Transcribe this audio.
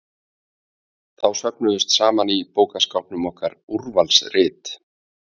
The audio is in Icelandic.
Þá söfnuðust saman í bókaskápnum okkar Úrvalsrit